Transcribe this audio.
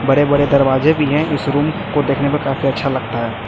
बड़े बड़े दरवाजे भी है इस रूम को देखने में काफी अच्छा लगता है।